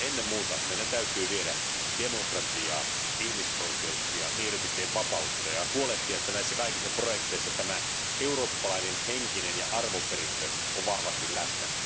Ennen muuta meidän täytyy viedä demokratiaa, ihmisoikeuksia ja mielipiteenvapautta ja huolehtia, että näissä kaikissa projekteissa tämä eurooppalainen henkinen ja arvoperintö ovat vahvasti läsnä.